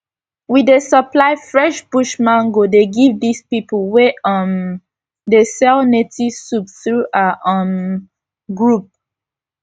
we dey supply fresh bush mango dey give dis pipu wey um dey sell native soup through our um group